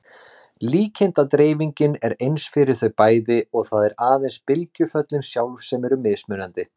Líkindadreifingin er eins fyrir þau bæði og það eru aðeins bylgjuföllin sjálf sem eru mismunandi.